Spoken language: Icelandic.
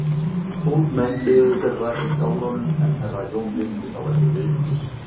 Tólf menn biðu þeirra í skálanum en herra Jón virti þá ekki viðlits.